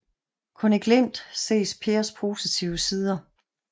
Kun i glimt ses Pers positive sider